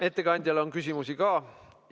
Ettekandjale on küsimusi ka.